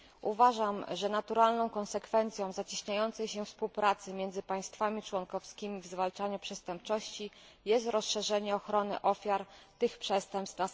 Uważam, że naturalną konsekwencją zacieśniającej się współpracy między państwami członkowskimi w zwalczaniu przestępczości jest rozszerzenie ochrony ofiar tych przestępstw